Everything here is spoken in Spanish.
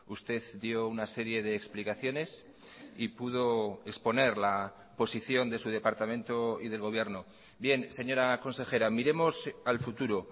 usted dio una serie de explicaciones y pudo exponer la posición de su departamento y del gobierno bien señora consejera miremos al futuro